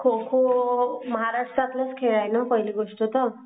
खो खो महाराष्ट्रातला चा खेळ आहे पहिली गोष्ट तर.